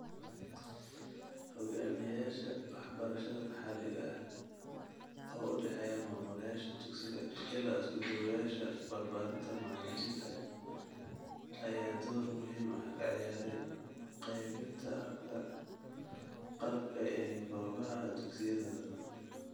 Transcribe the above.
Hogaamiyayaasha waxbarashada maxalliga ah, oo u dhexeeya maamulayaasha dugsiga ilaa isku-duwayaasha barbaarinta iyo macallimiinta, ayaa door muhiim ah ka ciyaaray qaabaynta habka qalabka ee goobaha dugsiyadooda.